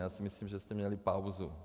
Já si myslím, že jste měli pauzu.